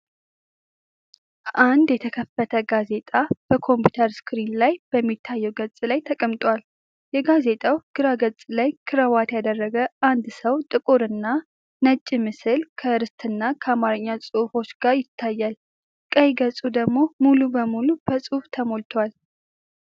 አንድ የተከፈተ ጋዜጣ በኮምፒዩተር ስክሪን ላይ በሚታየው ገጽ ላይ ተቀምጧል። የጋዜጣው ግራ ገጽ ላይ ክራባት ያደረገ አንድ ሰው ጥቁርና ነጭ ምስል፣ ከአርዕስትና ከአማርኛ ጽሑፎች ጋር ይታያል። ቀኝ ገጹ ደግሞ ሙሉ በሙሉ በጽሑፍ ተሞልቷል።